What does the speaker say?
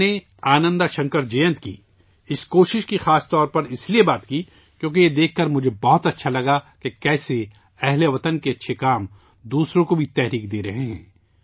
میں نے آنندہ شنکر جینت کی اس کوشش کا خاص طورسے اس لئے ذکر کیا کیونکہ یہ دیکھ کر مجھے بہت اچھا لگا کہ کس طرح ہم وطنوں کے اچھے کام دوسروں کو بھی متحرک کر رہے ہیں